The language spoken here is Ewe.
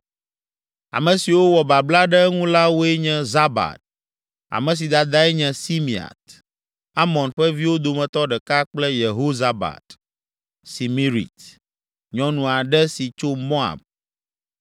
Ame siwo wɔ babla ɖe eŋu la woe nye Zabad, ame si dadae nye Simeat, Amon ƒe viwo dometɔ ɖeka kple Yehozabad, Simirit, nyɔnu aɖe si tso Moab.